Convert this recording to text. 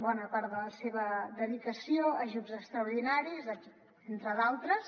bona part de la seva dedicació a ajuts extraordinaris entre d’altres